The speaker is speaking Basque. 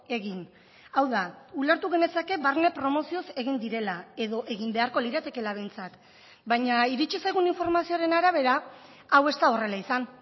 egin hau da ulertu genezake barne promozioz egin direla edo egin beharko liratekela behintzat baina iritsi zaigun informazioaren arabera hau ez da horrela izan